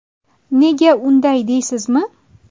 Nega unday deysizmi?